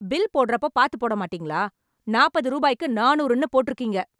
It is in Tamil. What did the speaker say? பில் போடறப்போ பாத்து போட மாட்டேங்களா... நாப்பது ரூபாய்க்கு, நானூறுன்னு போட்ருக்கீங்க...